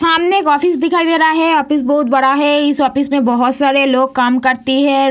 सामने एक ऑफिस दिखाई दे रहा है ऑफिस बहुत बड़ा है इस ऑफिस में बहुत सारे लोग काम करते हैं।